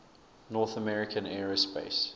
north american aerospace